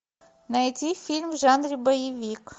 найти фильм в жанре боевик